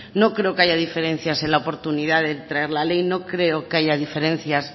no creo que haya diferencias en la oportunidad de traer la ley no creo que haya diferencias